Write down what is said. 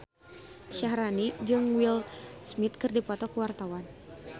Syaharani jeung Will Smith keur dipoto ku wartawan